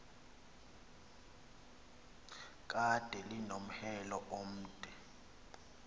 kade linomhelo omde